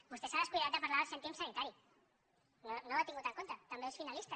vostè s’ha descuidat de parlar del cèntim sanitari no ho ha tingut en compte també és finalista